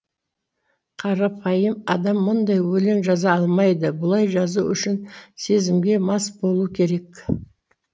қарапайым адам мұндай өлең жаза алмайды бұлай жазу үшін сезімге мас болу керек